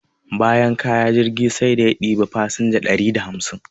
Bayan kaya, jirgin sai da ya ɗebi fasinja dari da hamsin.